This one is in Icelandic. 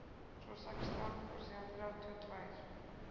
Svo sextán og síðan þrjátíu og tvær.